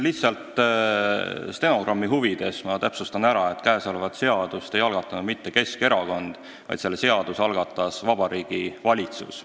Lihtsalt stenogrammi huvides ma täpsustan, et seda seaduseelnõu ei algatanud mitte Keskerakond, vaid selle algatas Vabariigi Valitsus.